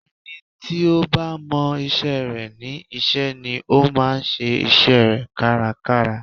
Ẹni tí ó bá mọ isẹ́ rẹ̀ ní iṣẹ́ ni ó máa ń ṣe isẹ́ rẹ̀ kárakára